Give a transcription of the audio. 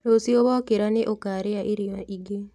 Rũciũ wokĩra nĩ ũkarĩa irio ingĩ